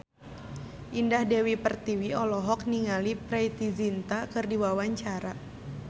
Indah Dewi Pertiwi olohok ningali Preity Zinta keur diwawancara